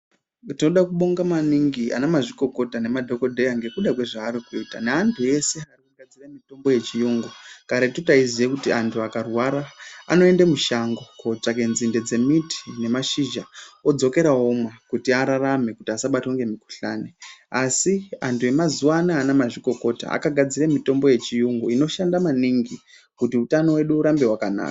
Tinoda kubonga maninigi ana mazvikokota nemadhokodheya ngekuda kwezvaari kuita neantu eshe nemitombo yechiyungu karetu taiziya kuti antu akarwara anoende mushango kotsvake nzinde dzemiti nemashizha odzokera omwa kuti ararame kuti asabatwa ngemukuhlani asi antu emazuvaanaya ana mazvikokota akagadzirire mitombo yechiyungu inoshanda maningi kuti utano hwedu urambe hwakanaka.